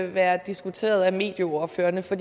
være diskuteret af medieordførerne for